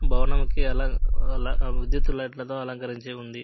భవనం కి వె ఆలా విద్యుత్ లైట్ ల తో అలంకరించి ఉంది.